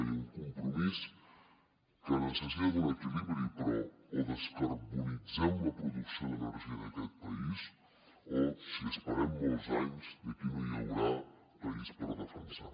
hi ha un compromís que necessita un equilibri però o descarbonitzem la producció d’energia d’aquest país o si esperem molts anys aquí no hi haurà país per defensar